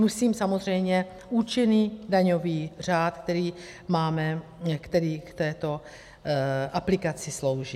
Myslím samozřejmě účinný daňový řád, který máme, který k této aplikaci slouží.